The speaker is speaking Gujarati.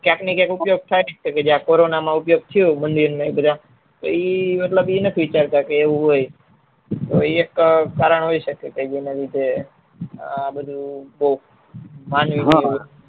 ક્યાંક ના ક્યાં ઉપયોગ થઇ જાય છે કોરોના માં ઉપયોગ થયો મંદિર ને બધા તો એ બધા મતલબ એવું નહી વિચરતા કે એવું હોય એક કારણ હોઈ સકે જેના લીધે આ બધું